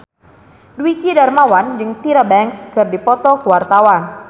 Dwiki Darmawan jeung Tyra Banks keur dipoto ku wartawan